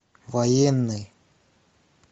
военный